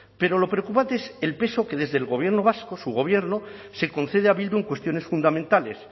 pero lo preocupante es el peso que desde el gobierno vasco su gobierno se concede a bildu en cuestiones fundamentales